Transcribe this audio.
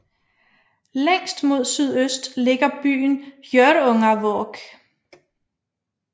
Længst mod sydøst ligger byen Hjørungavåg